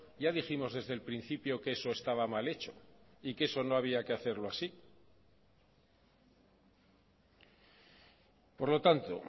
ya dijimos desde el principio que eso estaba mal hecho y que eso no había que hacerlo así por lo tanto